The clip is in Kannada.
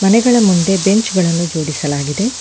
ಮನೆಗಳ ಮುಂದೆ ಬೆಂಚ್ ಗಳನ್ನು ಜೋಡಿಸಲಾಗಿದೆ.